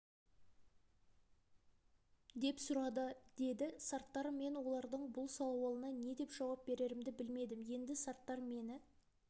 деп сұрады деді сарттар мен олардың бұл сауалына не деп жауап берерімді білмедім енді сарттар мені